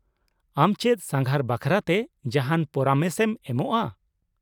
ᱟᱢ ᱪᱮᱫ ᱥᱟᱸᱜᱷᱟᱨ ᱵᱟᱠᱷᱨᱟᱛᱮ ᱡᱟᱦᱟᱸᱱ ᱯᱚᱨᱟᱢᱮᱥ ᱮᱢ ᱮᱢᱚᱜᱼᱟ ?